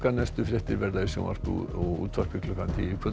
næstu fréttir verða í sjónvarpi og útvarpi klukkan tíu í kvöld